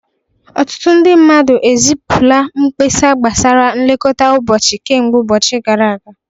Ọtụtụ ndị mmadụ ezipụla mkpesa gbasara nlekọta ụbọchị kemgbe oge gara aga